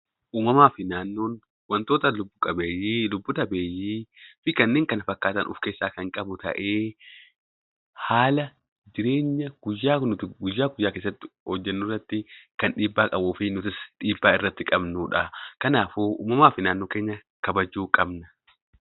Uumamaa fi naannoon wantoota lubbu qabeeyyii fi lubbu dhabeeyyii fi kanneen kana fakkaatan kan of keessaa kan qabu ta'ee, haala jireenya guyyaa guyyaa hojjennu keessatti kan dhiibbaa qabu fi nutis dhiibbaa irratti qabnudha. Kanaafuu uumamaa fi naannoo keenya kabajuu qabna.